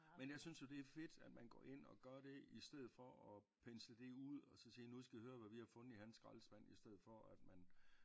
Men jeg synes jo det er fedt at man går ind og gør det i stedet for at pensle det ud og så sige nu skal I høre hvad vi har fundet i hans skraldespand i stedet for at man